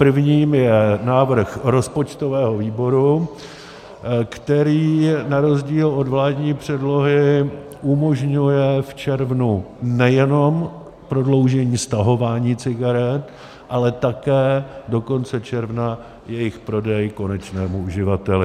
Prvním je návrh rozpočtového výboru, který na rozdíl od vládní předlohy umožňuje v červnu nejenom prodloužení stahování cigaret, ale také do konce června jejich prodej konečnému uživateli.